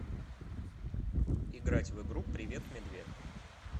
играть в игру привет медвед